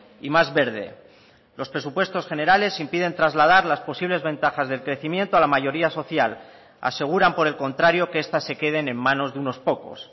y más verde los presupuestos generales impiden trasladar las posibles ventajas del crecimiento a la mayoría social aseguran por el contrario que estas se queden en manos de unos pocos